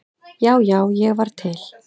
Já, já, ég var til.